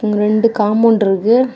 இங்க ரெண்டு காம்பவுண்ட் இருக்கு.